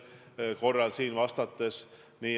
Ma tõesti arvan nii.